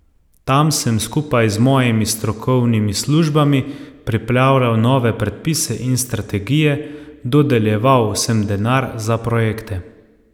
Tam sem skupaj z mojimi strokovnimi službami pripravljal nove predpise in strategije, dodeljeval sem denar za projekte ...